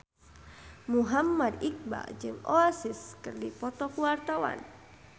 Muhammad Iqbal jeung Oasis keur dipoto ku wartawan